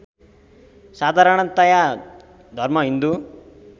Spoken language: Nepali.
साधारणतया धर्म हिन्दु